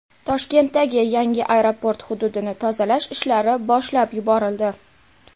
Toshkentdagi yangi aeroport hududini tozalash ishlari boshlab yuborildi.